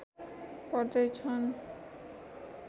पढ्दै छन्